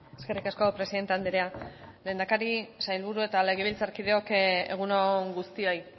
eskerrik asko presidente andrea lehendakari sailburu eta legebiltzarkideok egun on guztioi